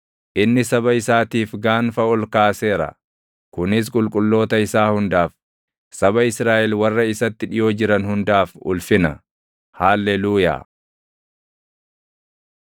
Inni saba isaatiif gaanfa ol kaaseera; kunis qulqulloota isaa hundaaf, saba Israaʼel warra isatti dhiʼoo jiran hundaaf ulfina. Haalleluuyaa.